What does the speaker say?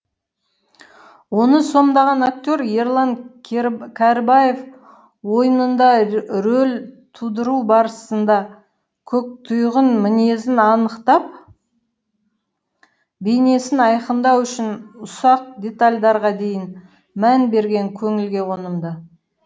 оны сомдаған актер ерлан кәрібаев ойынында рөл тудыру барысында көктұйғын мінезін анықтап бейнесін айқындау үшін ұсақ детальдарға дейін мән берген көңілге қонымды